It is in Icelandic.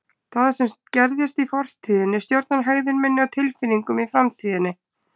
Það sem gerðist í fortíðinni stjórnar hegðun minni og tilfinningum í framtíðinni.